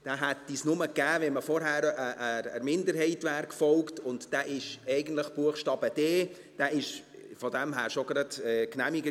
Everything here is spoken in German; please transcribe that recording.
Den hätte es nur gegeben, wenn man vorher der Minderheit gefolgt wäre, und das ist eigentlich Buchstabe d. Dieser Antrag war von daher schon genehmigt.